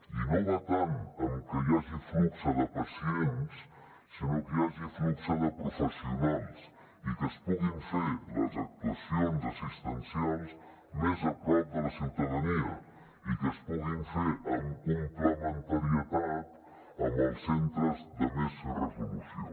i no va tant en que hi hagi flux de pacients sinó que hi hagi flux de professionals i que es puguin fer les actuacions assistencials més a prop de la ciutadania i que es puguin fer amb complementarietat amb els centres de més resolució